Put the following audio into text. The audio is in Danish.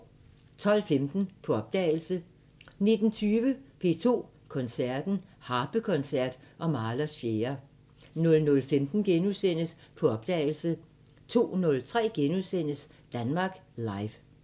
12:15: På opdagelse 19:20: P2 Koncerten – Harpekoncert og Mahlers 4 00:15: På opdagelse * 02:03: Danmark Live *